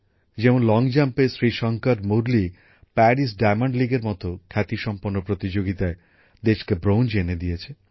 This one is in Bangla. যেমন লংজাম্পে শ্রীশংকর মুরলী প্যারিস ডায়মন্ড লীগের মতো খ্যাতিসম্পন্ন প্রতিযোগিতায় দেশকে ব্রোঞ্জ এনে দিয়েছে